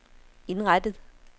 indrettet